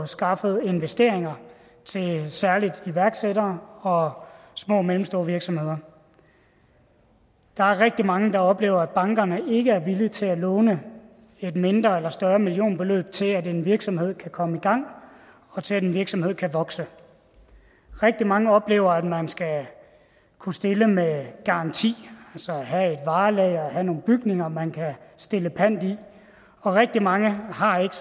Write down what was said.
skaffet investeringer særligt til iværksættere og små og mellemstore virksomheder der er rigtig mange der oplever at bankerne ikke er villige til at låne et mindre eller større millionbeløb til at en virksomhed kan komme i gang og til at en virksomhed kan vokse rigtig mange oplever at man skal kunne stille med garanti altså have nogle bygninger man kan stille pant i og rigtig mange har ikke